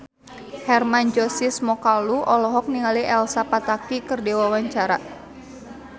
Hermann Josis Mokalu olohok ningali Elsa Pataky keur diwawancara